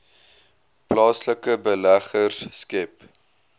plaaslike beleggers skep